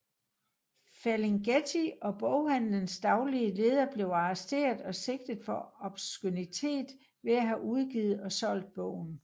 Ferlinghetti og boghandelens daglige leder blev arresteret og sigtet for obskønitet ved at have udgivet og solgt bogen